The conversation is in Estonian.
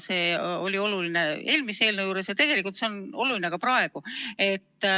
See oli oluline eelmise eelnõu puhul ja on oluline ka praegu.